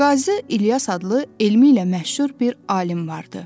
Qazi İlyas adlı elmi ilə məşhur bir alim vardı.